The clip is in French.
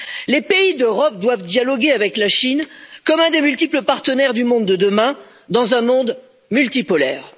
Les pays d'Europe doivent dialoguer avec la Chine, qui est l'un des multiples partenaires du monde de demain, un monde multipolaire.